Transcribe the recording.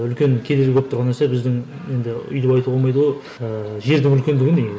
үлкен кедергі болып тұрған нәрсе біздің енді өйтіп айтуға болмайды ғой ііі жердің үлкендігі негізі